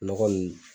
Nɔgɔ nunnu